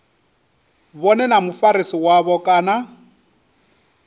vhone na mufarisi wavho kana